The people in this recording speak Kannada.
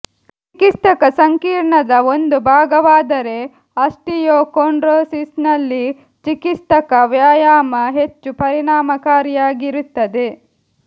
ಚಿಕಿತ್ಸಕ ಸಂಕೀರ್ಣದ ಒಂದು ಭಾಗವಾದರೆ ಆಸ್ಟಿಯೋಕೊಂಡ್ರೋಸಿಸ್ನಲ್ಲಿ ಚಿಕಿತ್ಸಕ ವ್ಯಾಯಾಮ ಹೆಚ್ಚು ಪರಿಣಾಮಕಾರಿಯಾಗಿರುತ್ತದೆ